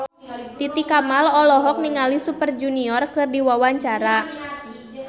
Titi Kamal olohok ningali Super Junior keur diwawancara